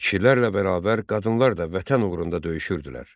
Kişilərlə bərabər qadınlar da vətən uğrunda döyüşürdülər.